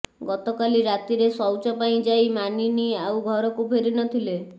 ଗତକାଲି ରାତିରେ ଶୌଚ ପାଇଁ ଯାଇ ମାନିନୀ ଆଉ ଘରକୁ ଫେରି ନ ଥିଲେ